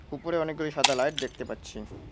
উপরে অনেকগুলি সাদা লাইট দেখতে পাচ্ছি।